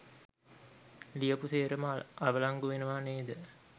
ලියපු සේරම අවලංගු වෙනවා නේද?